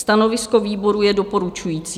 Stanovisko výboru je doporučující.